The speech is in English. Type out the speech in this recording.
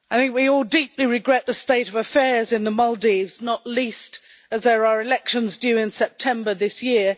We all deeply regret the state of affairs in the Maldives, not least as there are elections due in September this year.